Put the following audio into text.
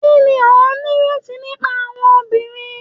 Kini o nireti nipa awọn obinrin